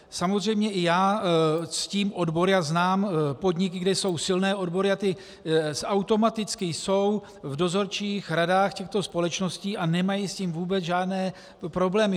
Samozřejmě i já ctím odbory a znám podniky, kde jsou silné odbory, a ty automaticky jsou v dozorčích radách těchto společností a nemají s tím vůbec žádné problémy.